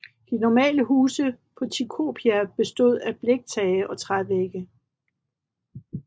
De normale huse på Tikopia bestod af bliktage og trævægge